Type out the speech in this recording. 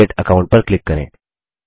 create account पर click करें